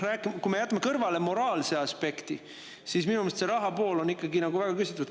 Kui me jätame moraalse aspekti kõrvale, siis minu meelest on see rahastamise pool ikka väga küsitav.